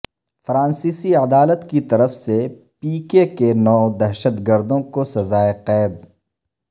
فرانسیسی عدالت کیطرف سے پی کے کے کے نو دہشت گردوں کوسزا ئے قید